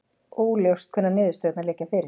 Óljóst hvenær niðurstöðurnar liggja fyrir